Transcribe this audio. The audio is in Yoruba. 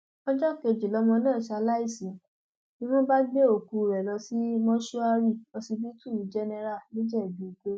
ọjọ kejì lọmọ náà ṣaláìsí ni wọn bá gbé òkú rẹ lọ sí mọṣúárì ọsibítù jẹnẹrà nìjẹbùìgbò